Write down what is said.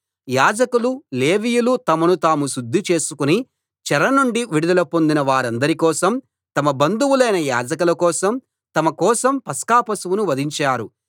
యాజకులు లేవీయులు తమను తాము శుద్ధి చేసుకుని చెర నుండి విడుదల పొందిన వారందరి కోసం తమ బంధువులైన యాజకుల కోసం తమ కోసం పస్కా పశువును వధించారు